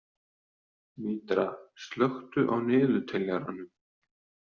Mítra, slökktu á niðurteljaranum.